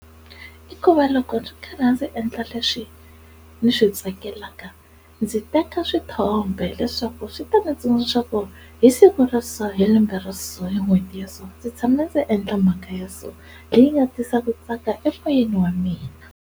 I ku va loko ndzi karhi ndzi endla leswi ndzi swi tsakelaka ndzi teka swithombe leswaku swi ta ndzi tsundzuka ku ri hi siku ra so hi lembe ra so hi n'hweti ya so ndzi tshama ndzi endla mhaka ya so leyi nga tisa ku tsaka emoyeni wa mina.